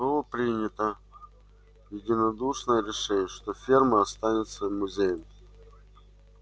было принято единодушное решение что ферма останется музеем